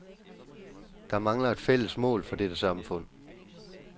Der mangler et fælles mål for dette samfund.